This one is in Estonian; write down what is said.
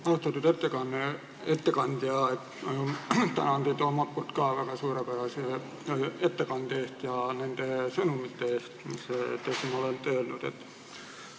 Austatud ettekandja, tänan teid ka omalt poolt suurepärase ettekande eest ja nende sõnumite eest, mis te siin olete öelnud!